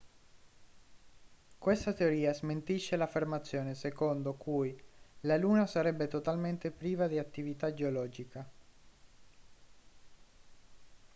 questa teoria smentisce l'affermazione secondo cui la luna sarebbe totalmente priva di attività geologica